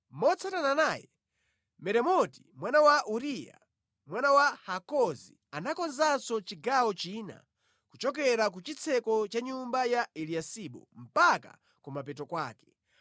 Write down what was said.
Motsatana naye, Meremoti mwana wa Uriya, mwana wa Hakozi anakonzanso chigawo china kuchokera ku chitseko cha nyumba ya Eliyasibu mpaka kumapeto kwake.